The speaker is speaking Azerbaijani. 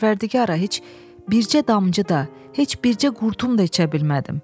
Pərvərdigara, heç bircə damcı da, heç bircə qurtum da içə bilmədim.